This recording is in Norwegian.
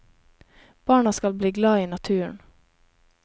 Barna skal bli glad i naturen.